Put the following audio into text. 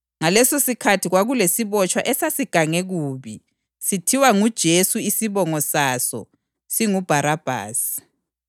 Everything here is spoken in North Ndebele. Ngalesosikhathi kwakulesibotshwa esasigange kubi, sithiwa nguJesu isibongo saso singuBharabhasi.